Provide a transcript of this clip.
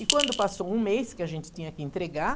E quando passou um mês que a gente tinha que entregar,